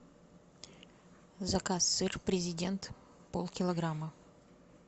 заказ сыр президент полкилограмма